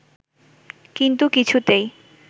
কিন্তু কিছুতেই